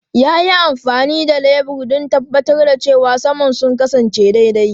Ya yi amfani da lebur don tabbatar da cewa saman sun kasance daidai.